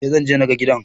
Eh, Zanje naga gidan